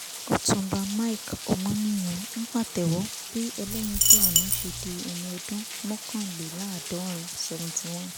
ọtúnbá mike ọmọnìyàn ń pàtẹ́wọ́ bí ẹlẹ́yinjú àánú ṣe di ẹni ọdún mọ́kànléláàdọ́rin seventy one